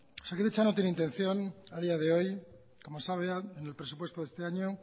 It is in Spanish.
osakidetza no tiene intención a día de hoy como está hablado en el presupuesto de este año